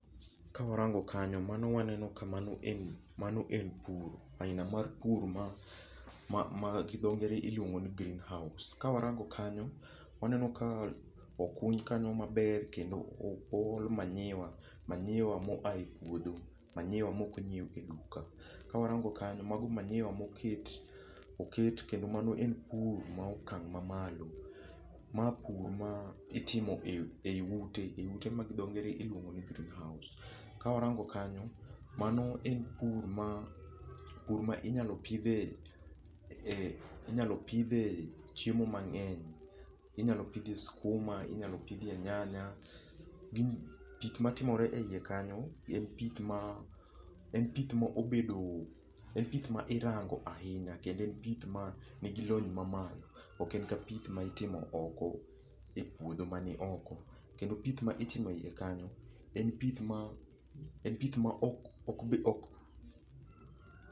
Kawarango kanyo mano waneno kamano mano en puro. Aina mar pur gi dho ngere iluongo ni greenhouse. Ka warango kanyo waneno ka okuny kanyo maber kendo o ol manyiwa manyiwa mo ae puodho. Manyiwa mok nyiew e duka. Kawarango kanyo mago manyiwa moket kendo mano e pur ma okang' ma malo'. Ma pur ma itimo e i ute ma gi dho ngere iluongo ni greenhouse. Kawarango kanyo mano en pur ma inyalo pidhie chiemo mang'eny. Inyalo pidhie skuma, inyalo pidhie nyanya. Pith matimore e yie kanyo en pith ma en pith ma obedo, en pith ma irango ahinya. Kendo en pith ma nigi lony ma malo. Ok en ka pith ma itimo e oko e puodho mani oko. Kendo pith ma itime yie kanyo en pith ma en pith ma ok...